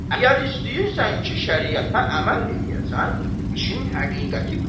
Əgər istəyirsən ki, şəriətə əməl eləyəsən, işin həqiqəti budur.